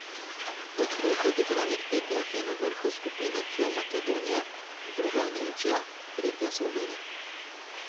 Po treh odigranih tekmah je na vrhu skupine C Makedonija, druga je Nemčija, tretja Slovenija.